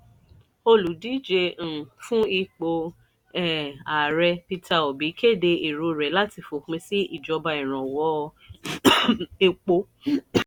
olùdíje um fún ipò um ààrẹ peter obi kéde èrò rẹ̀ láti fòpin sí ìjọba ìrànwọ́ um epo.